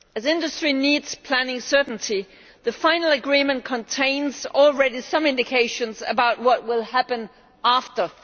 As industry needs planning certainty, the final agreement already contains some indications about what will happen after